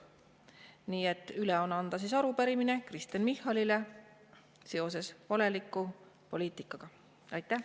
Nii et üle on anda arupärimine Kristen Michalile valeliku poliitika kohta.